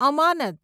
અમાનત